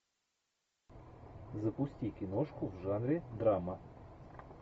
запусти киношку в жанре драма